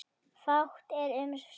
Fátt er um svör.